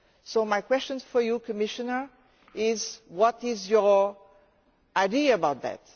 So my question for you, Commissioner, is what ideas do you have about that?